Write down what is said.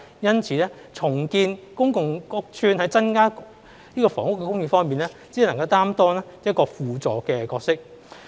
因此，重建公共屋邨在增加房屋供應方面，只能擔當輔助的角色。